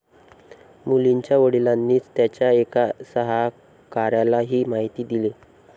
मुलींच्या वडिलांनीच त्यांच्या एका सहकाऱ्याला ही माहिती दिली.